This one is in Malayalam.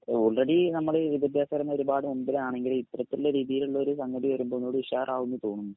ഓൾറെഡി നമ്മളീ വിദ്യാഭ്യാസപരമായി ഒരുപാട് മുൻപിലാണെങ്കിലും ഇപ്പോഴത്തുള്ള രീതിയിലുള്ളൊരു സംഗതി വരുമ്പോൾ ഒന്നൂടി ഉഷാറാകുംന്ന് തോന്നുന്നു.